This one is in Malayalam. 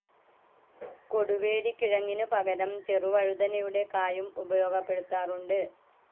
കൊടുവേലിക്കിഴങ്ങിനു പകരം ചെറുവഴുതനയുടെ കായും ഉപയോഗപ്പെടുത്താറുണ്ട്.